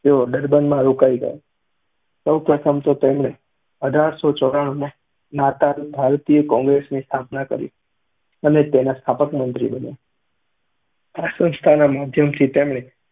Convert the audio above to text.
તેઓ ડર્બનમાં રોકાઈ ગયા. સૌ પ્રથમ તો તેમણે અધરશો ચોરાણુમાં નાતાલ ભારતીય કૉંગ્રેસની સ્થાપના કરી અને તેના સ્થાપક મંત્રી બન્યા. આ સંસ્થાના માધ્યમથી તેમણે